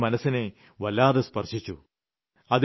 അദ്ദേഹം എന്റെ മനസ്സിനെ വല്ലാതെ സ്പർശിച്ചു